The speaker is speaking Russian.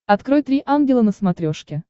открой три ангела на смотрешке